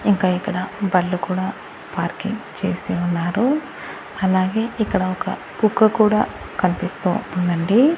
ఇంకా ఇక్కడ బళ్ళు కూడా పార్కింగ్ చేసి ఉన్నారు అలాగే ఇక్కడ ఒక కుక్క కూడా కనిపిస్తూ ఉందండి.